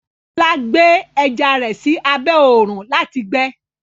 Bọlá gbẹ ẹjà rẹ sí àbẹ̀ ọ̀run láti gbẹ̀